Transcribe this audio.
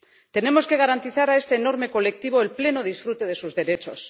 Tenemos que garantizar a este enorme colectivo el pleno disfrute de sus derechos.